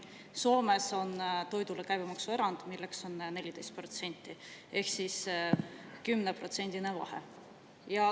Soomes on toidule käibemaksuerand, milleks on 14%, ehk siis 10%-line vahe.